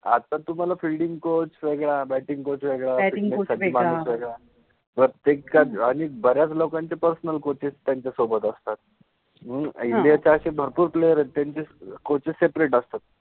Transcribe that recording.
आता तुम्हाला fielding coach वेगळा, बॅटिंग {batting} कोच वेग़ळा, बॅटिंग {batting} कोच वेग़ळा, प्रत्येक च आणी बर्याच लोकांचे पर्सनल कोचेस त्यांच्यासोबत असतात, मनुन इन्डिया {India} त असे भरपुर प्लेयर आहेत त्यांचे कोचेस सेपरेट {separate} असतात